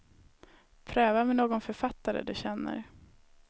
Pröva med någon författare du känner.